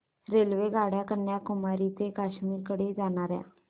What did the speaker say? रेल्वेगाड्या कन्याकुमारी ते काश्मीर कडे जाणाऱ्या